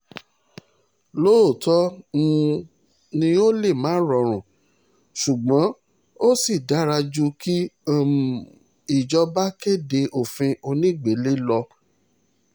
lóòótọ́ um ni ó lè má rọrùn ṣùgbọ́n ó sì dára ju kí um ìjọba kéde òfin onígbélé lọ